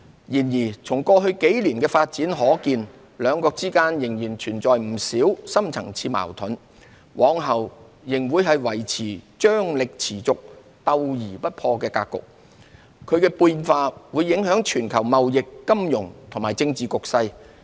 然而，從過去幾年的發展可見，兩國之間仍然存在不少深層次矛盾，往後仍會維持張力持續、鬥而不破的格局，其變化會影響全球貿易、金融及政治局勢。